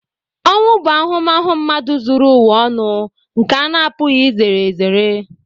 Ọnwụ bụ ahụmahụ mmadụ zuru ụwa ọnụ nke a na-apụghị izere ezere.